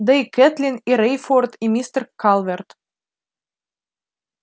да и кэтлин и рейфорд и мистер калверт